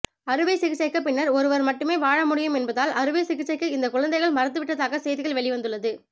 அறுவை சிகிச்சைக்கு பின்னர் ஒருவர் மட்டுமே வாழ முடியும் என்பதால் அறுவை சிகிச்சைக்கு இந்த குழந்தைகள் மறுத்துவிட்டதாக செய்திகள் வெளிவந்துள்ளது